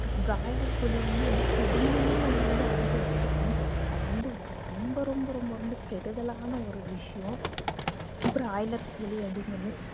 broiler கோழி வந்து தெரிஞ்சுமே நம்ம வந்து அதிகம் எடுத்துக்கிறோம் அது வந்து ரொம்ப ரொம்ப ரொம்ப ரொம்ப கெடுதலான ஒரு விஷயம் பிராய்லர் கோழி அப்படிங்கறது